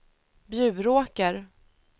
Bjuråker